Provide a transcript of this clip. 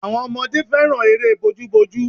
Àwọn ọmọdé fẹ́ràn eré bojúbojú